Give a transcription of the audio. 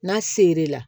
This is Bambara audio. N'a ser'i la